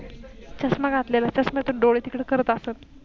चष्मा घातलेला चष्म्यातून डोळे तिकड करत असत.